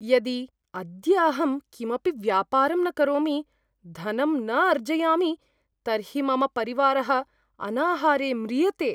यदि अद्य अहं किमपि व्यापारं न करोमि, धनं न अर्जयामि, तर्हि मम परिवारः अनाहारे म्रियते।